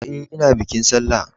E, ina bikin sallah.